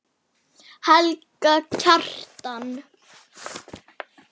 Helga Kjaran.